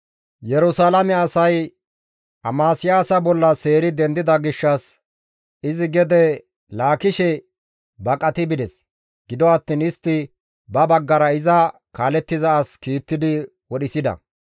Yerusalaame asay Amasiyaasa bolla seeri dendida gishshas izi gede Laakishe baqati bides; gido attiin istti ba baggara iza kaalettiza as kiittidi wodhisida.